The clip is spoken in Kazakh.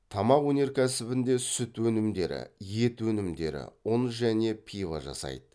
тамақ өнеркәсібінде сүті өнімдері ет өнімдері ұн және пива жасайды